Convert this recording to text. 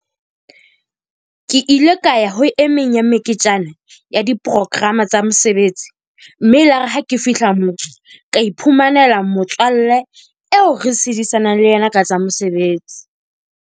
Ke ile ka ya ho emeng ya meketjana ya di-program-a tsa mesebetsi. mme e ile yar e ha ke fihla moo. Ka iphumanela motswalle eo re sedisanang le yena ka tsa mesebetsi.